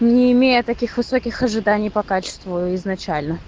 не имея таких высоких ожиданий по качеству изначально